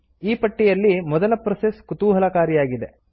ಈ ಪಟ್ಟಿಯಲ್ಲಿ ಮೊದಲ ಪ್ರೋಸೆಸ್ ಕುತೂಹಲಕಾರಿಯಾಗಿದೆ